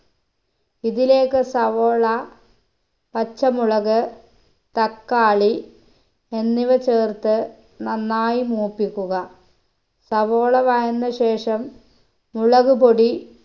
ഇതിലേക്ക് സവോള പച്ചമുളക് തക്കാളി എന്നിവ ചേർത്ത് നന്നായി മൂപ്പിക്കുക സവോള വയന്ന ശേഷം മുളക് പൊടി